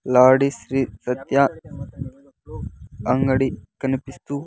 లాడి శ్రీ సత్య అంగడి కనిపిస్తూ--